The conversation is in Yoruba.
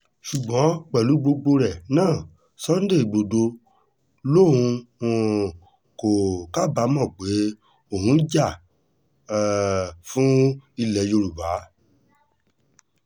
ṣùgbọ́n pẹ̀lú gbogbo rẹ̀ náà sunday igbodò lòun um kò kábàámọ̀ pé òun jà um fún ilẹ̀ yorùbá